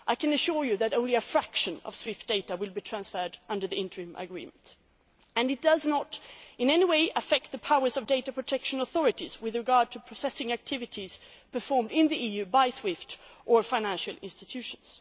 I can assure you that only a fraction of SWIFT data will be transferred under the interim agreement. It does not in any way affect the powers of data protection authorities with regard to processing activities performed in the EU by SWIFT or financial institutions.